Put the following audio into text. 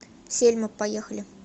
сельма поехали